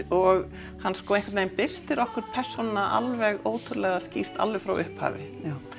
og hann einhvern veginn birtir okkur persónuna alveg ótrúlega skýrt alveg frá upphafi já